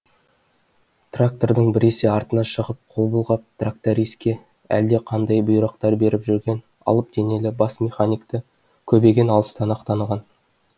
трактордың біресе артына шығып қол бұлғап тракториске әлдеқандай бұйрықтар беріп жүрген алып денелі бас механикті көбеген алыстан ақ таныған